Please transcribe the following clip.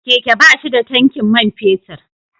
Keke ba shi da tankin man fetur.